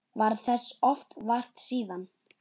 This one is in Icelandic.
Varð þess oft vart síðan.